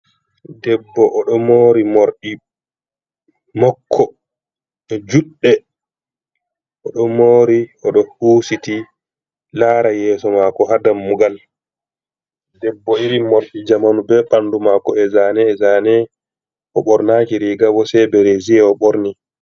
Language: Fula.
Debbo oɗo mori morɗi mako juɗde oɗo mori oɗo husiti lara yeso mako ha dammugal debbo iri morɗi zamanu be bandu mako e zane e zane o ɓornaki rigabo se bereze o ɓorni.